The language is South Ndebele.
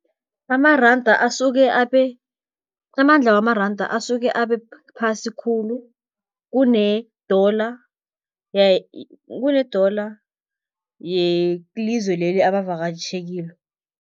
Amaranda asuke amandla wamaranda asuke abe phasi khulu, kune-dollar kune-dollar yelizwe leli abavakatjhe kilo.